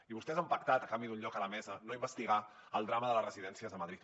i vostès han pactat a canvi d’un lloc a la mesa no investigar el drama de les residències de madrid